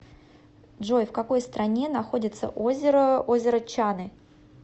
джой в какой стране находится озеро озеро чаны